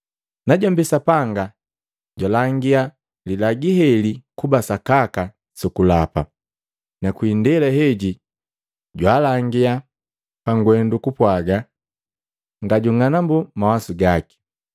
Najombi Sapanga, jwalangia lilagi heli kuba sakaka su kulapa, na kwi indela heji jwaalangia pangwendu kupwaga ngajung'anambu mawasu gaki.